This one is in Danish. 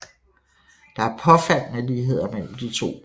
Der er påfaldende ligheder mellem de to byer